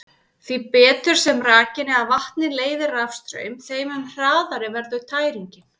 Því betur sem rakinn eða vatnið leiðir rafstraum, þeim mun hraðari verður tæringin.